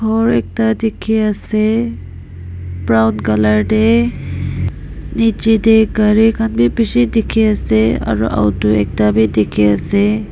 dangor ekta dikhi ase brown colour teh niche teh gari khan bhi bishi dikhi ase aru auto ekta bhi dikhi ase.